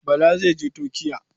Bala zai je Turkiya.